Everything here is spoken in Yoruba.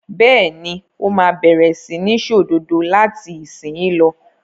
Bẹ́ẹ̀ ni, ó máa bẹ̀rẹ̀ sí ní ṣòdodo láti ìsìnyín lọ.